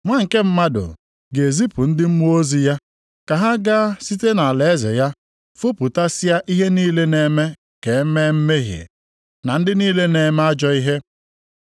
Nwa nke Mmadụ ga-ezipụ ndị mmụọ ozi ya ka ha gaa site nʼalaeze ya fopụtasịa ihe niile na-eme ka e mee mmehie, na ndị niile na-eme ajọ ihe.